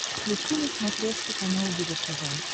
включи на смотрешке канал его тв